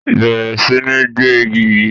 Bẹrẹ sí ní gbẹ igi yí!